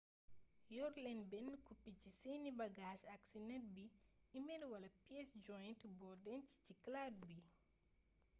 yor leen benn copie ci seeni bagage ak ci net bi e-mail wala piece jointe boo denc ci cloud bi